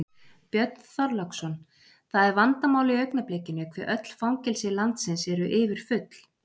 Björn Þorláksson: Það er vandamál í augnablikinu hve öll fangelsi landsins eru yfirfull?